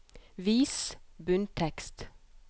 Vis bunntekst